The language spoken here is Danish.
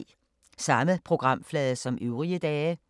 Samme programflade som øvrige dage